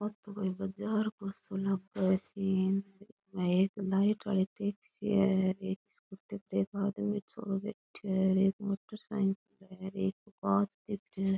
ओ तो कोई बाजार काे सो लागे है सीन एक लाइट आली टैक्सी है एक स्कूटी पे एक आदमी छोरो बैठो है एक मोटरसाइकिल है एक है।